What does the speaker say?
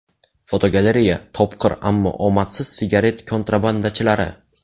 Fotogalereya: Topqir, ammo omadsiz sigaret kontrabandachilari.